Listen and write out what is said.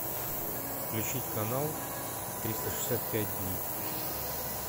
включить канал триста шестьдесят пять дней